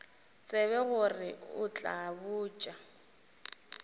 tsebe gore o tla botša